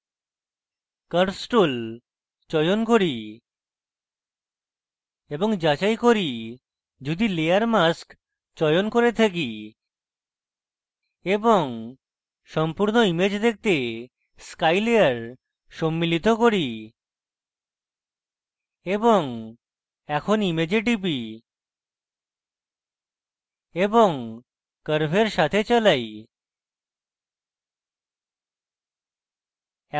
curves tool চয়ন করি এবং যাচাই করি যদি layer mask চয়ন করে থাকি এবং সম্পূর্ণ image দেখতে sky layer সম্মিলিত করি এবং এখন image টিপি এবং curves সাথে চালাই